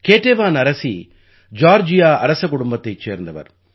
Ketevan அரசி Georgia அரசகுடும்பத்தைச் சேர்ந்தவர்